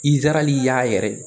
Izarahɛli y'a yɛrɛ